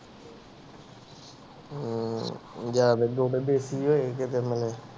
ਹਮ ਜ਼ਿਆਦੇ ਗੁੜ ਦੇਸ਼ੀ ਹੋਏ